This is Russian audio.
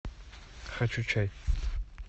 хочу чай